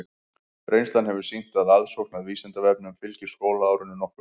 Reynslan hefur sýnt að aðsókn að Vísindavefnum fylgir skólaárinu nokkuð vel.